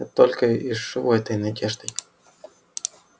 я только и живу этой надеждой